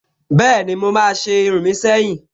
Bẹ́ẹ̀ni, mo máa se irun mi seyin